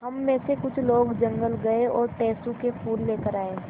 हम मे से कुछ लोग जंगल गये और टेसु के फूल लेकर आये